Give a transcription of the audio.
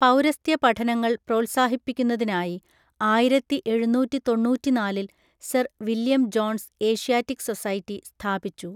പൗരസ്ത്യ പഠനങ്ങൾ പ്രോത്സാഹിപ്പിക്കുന്നതിനായി ആയിരത്തി എഴുന്നൂറ്റി തൊണ്ണൂറ്റിനാലിൽ, Sir William Jones Asiatic Society സ്ഥാപിച്ചു.